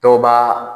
Dɔw b'a